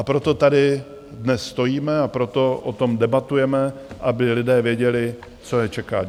A proto tady dnes stojíme a proto o tom debatujeme, aby lidé věděli, co je čeká.